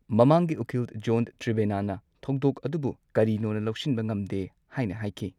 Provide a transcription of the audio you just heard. ꯃꯃꯥꯡꯒꯤ ꯎꯀꯤꯜ ꯖꯣꯟ ꯇ꯭ꯔꯦꯚꯦꯅꯥꯅ ꯊꯧꯗꯣꯛ ꯑꯗꯨꯕꯨ ꯀꯔꯤꯅꯣꯅ ꯂꯧꯁꯤꯟꯕ ꯉꯝꯗꯦ ꯍꯥꯏꯅ ꯍꯥꯢꯈꯤ꯫